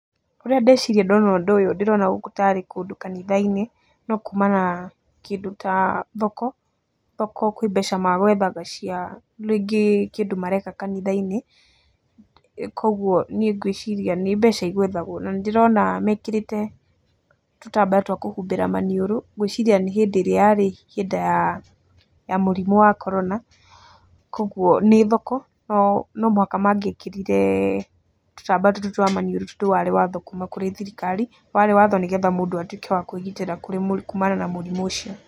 Ũrĩa ndeciria ndona ũndũ ũyũ ndĩrona gũkũ tarĩ kũndũ kanitha-inĩ, no kuma na kĩndũ ta thoko, thoko kwĩ mbeca megwethaga cia rĩngĩ kĩndũ mareka kanitha-inĩ, kuũguo niĩ ngwiciria nĩ mbeca igwethagwo. Na nĩ ndĩrona mekĩrĩte tũtambaya twa kũhumbĩra maniũrũ, ngwiciria nĩ hĩndĩ ĩra yarĩ hĩndĩ ya mũrimũ wa korona. Koguo nĩ thoko, no nomũhaka mangĩekĩrire tũtambaya tũtũ twa maniũrũ tondũ warĩ watho kuuma kũrĩ thirikari. Warĩ watho nĩ getha mũndũ atuĩke wa kwĩgitĩra kuUmana na mũrimũ ũcio.